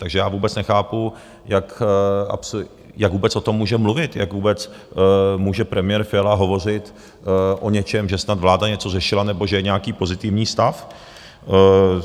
Takže já vůbec nechápu, jak vůbec o tom může mluvit, jak vůbec může premiér Fiala hovořit o něčem, že snad vláda něco řešila nebo že je nějaký pozitivní stav.